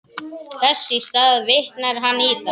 Þess í stað vitnar hann í þá.